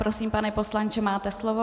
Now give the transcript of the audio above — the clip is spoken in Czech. Prosím, pane poslanče, máte slovo.